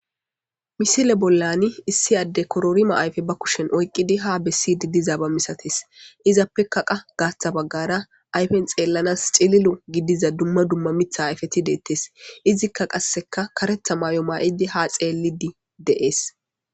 Misile bollani issi adde kororima ayife ba kushen oyqqidi ha bessidi dizaaba misatees. Izappekaqa gaaththa baggara ayifen xeellanas cililo gidiza dumma dumma mitha ayifeti deettes. Izikka qasseka karetha maayo maayidi ha xeellidi dees.